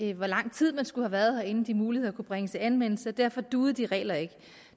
i hvor lang tid man skulle have været her inden de muligheder kunne bringes i anvendelse og derfor duede de regler ikke